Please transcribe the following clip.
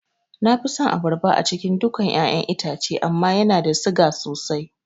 Nafi son abarba a cikin dukan ƴaƴan itace amma yana siga sosai